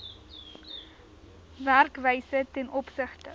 werkwyse ten opsigte